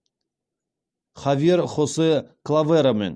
хавьер хосе клаверомен